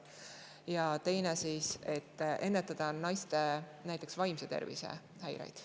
Ja teine eesmärk on see, et ennetada näiteks naiste vaimse tervise häireid.